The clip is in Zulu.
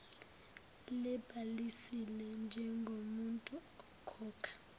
libhalisile njengomuntu okhokha